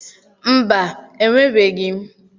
Mba, enwebeghị m.